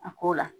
A ko la